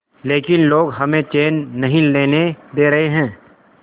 लेकिन लोग हमें चैन नहीं लेने दे रहे